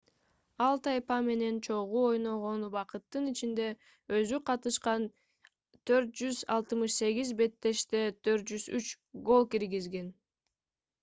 ал тайпа менен чогуу ойногон убакыттын ичинде өзү катышкан 468 беттеште 403 гол киргизген